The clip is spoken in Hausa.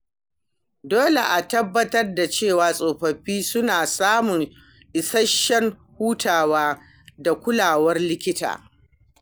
Dole a tabbatar da cewa tsofaffi suna samun isasshen hutawa da kulawar likita.